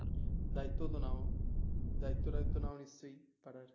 দায়িত্ব তো নাও দায়িত্বটা তো নিশ্চয়ই তাদের